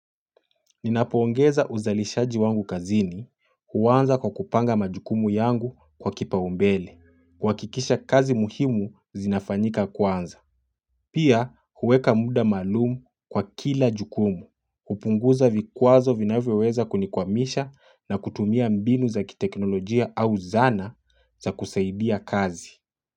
Ninapoongeza uzalishaji wangu kazini huwanza kwa kupanga majukumu yangu kwa kipaumbele, kuhakikisha kazi muhimu zinafanyika kwanza. Pia huweka muda maalum kwa kila jukumu, upunguza vikwazo vinavyoweza kunikwamisha na kutumia mbinu za kiteknolojia au zana za kusaidia kazi.